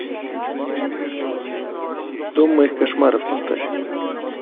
дом моих кошмаров поставь